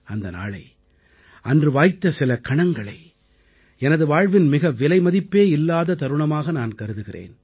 அந்த நாளை அன்று வாய்த்த சில கணங்களை எனது வாழ்வின் மிக விலைமதிப்பே இல்லாத தருணமாக நான் கருதுகிறேன்